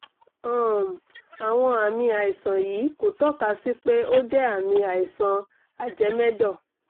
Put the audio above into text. um àwọn àmì àìsàn yìí kò tọ́ka sí pé ó jẹ́ àmì àìsàn ajẹmẹ́dọ̀